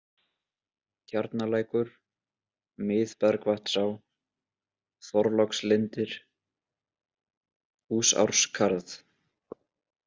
Tjarnalækur, Mið-Bergvatnsá, Þorlákslindir, Húsárskarð